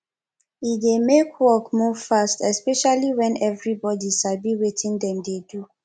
e dey make work move fast especially when everybody sabi wetin dem dey do